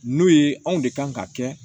N'o ye anw de kan ka kɛ